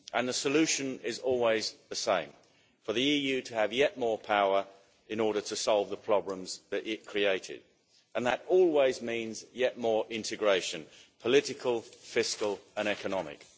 The solution is always the same, namely for the EU to have yet more power in order to solve the problems that it created, and that always means yet more integration political, fiscal and economic.